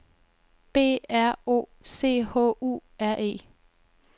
B R O C H U R E